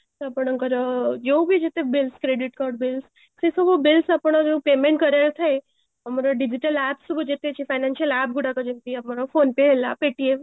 ଆପଣଙ୍କର ଯୋଉ ବି ଯେତେ bills credit card bills ସେ ସବୁ bills ଆପଣ ଯୋଉ payment କରିବାର ଥାଏ ଆମର digital app ସବୁ ଯେତେ ଅଛି financial app ଗୁଡାକ ଯେମିତି ଆପଣ phone pay ହେଲା paytm